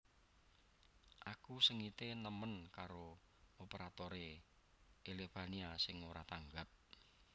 Aku sengite nemen karo operatore Elevania sing ora tanggap